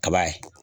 Kaba ye